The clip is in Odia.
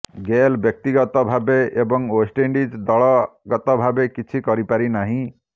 ଗେଲ୍ ବ୍ୟକ୍ତିଗତ ଭାବେ ଏବଂ ୱେଷ୍ଟଇଣ୍ଡିଜ୍ ଦଳଗତ ଭାବେ କିଛି କରିପାରିନାହିଁ